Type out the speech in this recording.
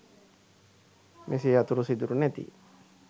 මෙසේ අතුරු සිදුරු නැති